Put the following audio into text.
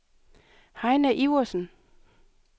Heine Iversen